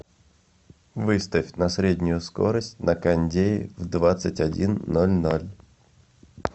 выставь на среднюю скорость на кондее в двадцать один ноль ноль